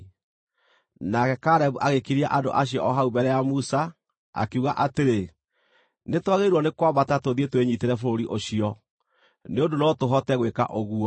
Nake Kalebu agĩkiria andũ acio o hau mbere ya Musa, akiuga atĩrĩ, “Nĩtwagĩrĩirwo nĩ kwambata tũthiĩ twĩnyiitĩre bũrũri ũcio, nĩ ũndũ no tũhote gwĩka ũguo.”